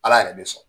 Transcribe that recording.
Ala yɛrɛ bɛ sɔn